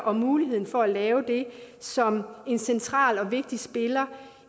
og muligheden for at lave det som en central og vigtig spiller